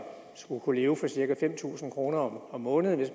skal kunne leve for cirka fem tusind kroner om måneden